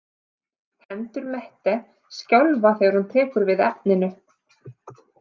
Hendur Mette skjálfa þegar hún tekur við efninu.